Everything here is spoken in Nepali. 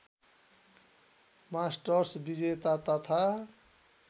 मास्टर्स विजेता तथा